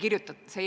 Hea ettekandja!